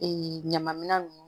ɲama minɛn nunnu